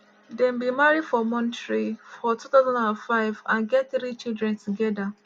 dem bin marry for montreal for 2005 and get three children togeda.